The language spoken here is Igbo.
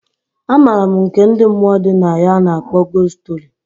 A maram nke ndi mmụọ dị na ya a na akpọ gost story.